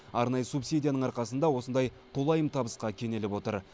арнайы субсидияның арқасында осындай толайым табысқа кенеліп отыр